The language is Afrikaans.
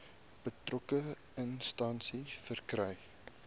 betrokke instansie verkry